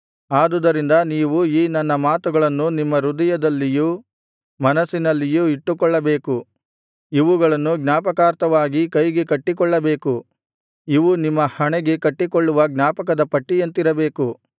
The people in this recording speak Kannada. ಆದುದರಿಂದ ನೀವು ಈ ನನ್ನ ಮಾತುಗಳನ್ನು ನಿಮ್ಮ ಹೃದಯದಲ್ಲಿಯೂ ಮನಸ್ಸಿನಲ್ಲಿಯೂ ಇಟ್ಟುಕೊಳ್ಳಬೇಕು ಇವುಗಳನ್ನು ಜ್ಞಾಪಕಾರ್ಥವಾಗಿ ಕೈಗೆ ಕಟ್ಟಿಕೊಳ್ಳಬೇಕು ಇವು ನಿಮ್ಮ ಹಣೆಗೆ ಕಟ್ಟಿಕೊಳ್ಳುವ ಜ್ಞಾಪಕದ ಪಟ್ಟಿಯಂತಿರಬೇಕು